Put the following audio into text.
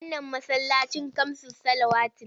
Wannan masallacin kamsus salawati ne.